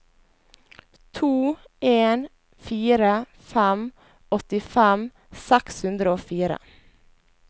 to en fire fem åttifem seks hundre og fire